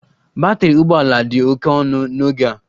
Batrị ụgbọ ala dị oke ọnụ n'oge a